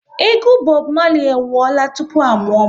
Egwu Bob Marley e wụọla tupu a mụọ m